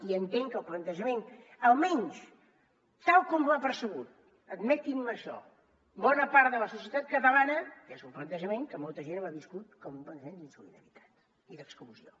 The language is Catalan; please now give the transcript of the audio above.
i entenc que el plantejament almenys tal com l’ha percebut admetin me això bona part de la societat catalana és un plantejament que molta gent ha viscut com un plantejament d’insolidaritat i d’exclusió